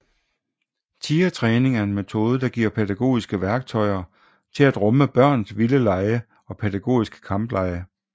Tigertræning er en metode der giver pædagogiske værktøjer til at rumme børns vilde lege og pædagogiske kamplege